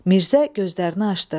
Mirzə gözlərini açdı.